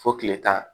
Fo kile tan